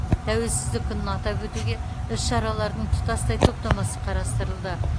тәуелсіздік күнін атап өтуге іс шаралардың тұтастай топтамасы қарастырылды